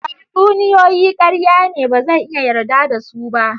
Tatsuniyoyi karya ne ba zan iya yarda da su ba.